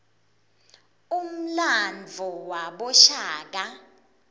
umlandvo wabashaka